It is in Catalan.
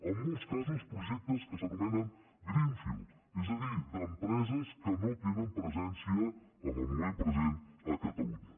en molts casos projectes que s’anomenen greenfield és a dir d’empreses que no tenen presència en el moment present a catalunya